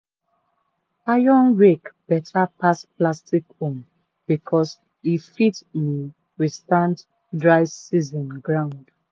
iron rake beta pass plastic own becos e fit um withstand dry season ground.